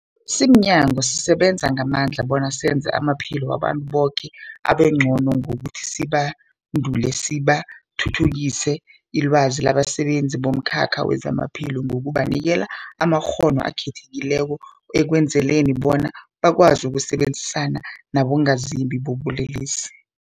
Simnyango, sisebenza ngamandla bona senze amaphilo wabantu boke abengcono ngokuthi sibandule besithuthukise ilwazi labasebenzi bomkhakha wezamaphilo ngokubanikela amakghono akhethekileko ukwenzela bona bakwazi ukusebenzisana nabongazimbi bobulelesi.